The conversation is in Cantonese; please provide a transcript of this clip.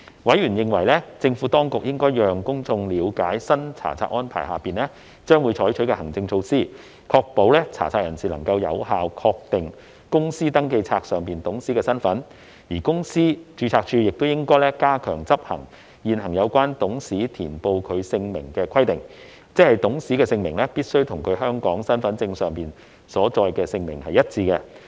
委員認為，政府當局應讓公眾了解新查冊安排下將會採取的行政措施，確保查冊人士能夠有效確定公司登記冊上的董事身份，而公司註冊處亦應加強執行現行有關董事填報其姓名的規定，即董事姓名必須與其香港身份證上所載的姓名一致。